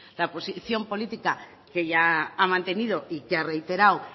la posición política que ella ha mantenido y que ha reiterado